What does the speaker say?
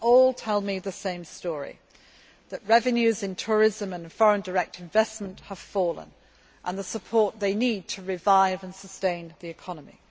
All tell me the same story that revenues in tourism and foreign direct investment have fallen and that they need support to revive and sustain the economy.